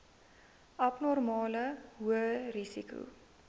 abnormale hoë risiko